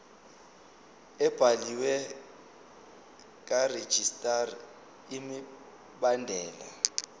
ebhaliwe karegistrar imibandela